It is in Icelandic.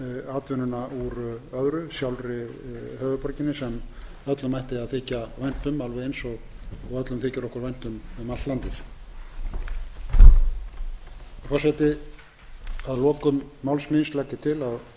atvinnuna úr öðru sjálfri höfuðborginni sem öllum ætti að þykja vænt um og öllum þykir okkur vænt um allt landið forseti að lokum máls míns legg ég til að þegar þessi umræða er búin gangi málið